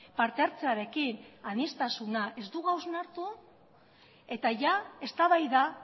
partehartzearekin aniztasuna ez dugu hausnartu hau eta jadaa eztabaida